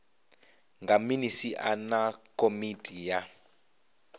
nga minisia na komiti ya